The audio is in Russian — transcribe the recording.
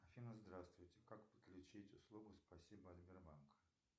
афина здравствуйте как подключить услугу спасибо от сбербанка